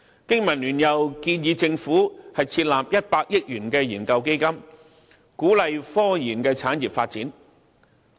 經民聯又建議政府設立100億元研究基金，鼓勵科研產業發展。